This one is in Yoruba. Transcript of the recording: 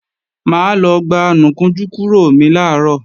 Mà á lọ gba anùkunjú kúrò mi làárọ̀